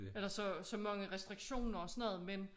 Eller så så mange restriktioner og sådan noget men